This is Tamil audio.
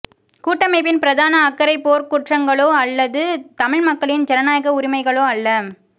கூட்டமைப்பின் பிரதான அக்கறை போர்க்குற்றங்களோ அல்லது தமிழ் மக்களின் ஜனநாயக உரிமைகளோ அல்ல